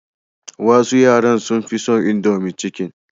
Wasu yaran sun fi son indomie chicken.